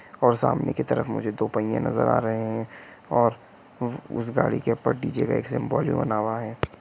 और सामने की तरफ मुझे दो पहिये नजर आ रहे है और उस गाड़ी के ऊपर डी.जे. का एक सिम्बोल भी बना हुआ है।